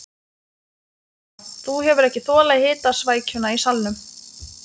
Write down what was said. Þetta líður hjá, þú hefur ekki þolað hitasvækjuna í salnum.